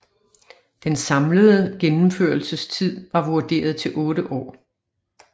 Den samlede gennemførelsestid var vurderet til 8 år